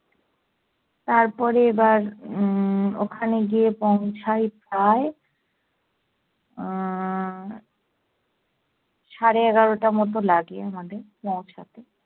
তারপরে এবার উম ওখানে গিয়ে পৌঁছাই প্রায় আহ সাড়ে এগারোটার মতো লাগে আমাদের পৌঁছাতে।